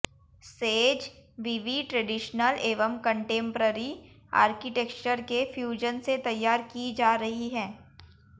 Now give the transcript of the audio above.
says विवि traditional एवं contemporary architecture के फ्यूजन से तैयार की जा रही है